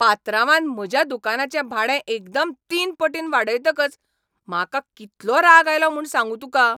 पात्रांवान म्हज्या दुकानाचें भाडे एकदम तीन पटीन वाडयतकच म्हाका कितलो राग आयलो म्हूण सांगू तुका.